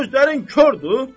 Gözlərin kordur?